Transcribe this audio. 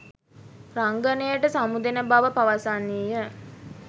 රංගනයට සමුදෙන බව පවසන්නීය.